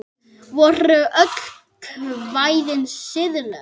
Voru öll kvæðin siðleg?